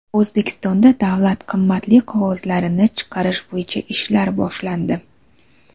O‘zbekistonda davlat qimmatli qog‘ozlarini chiqarish bo‘yicha ishlar boshlandi.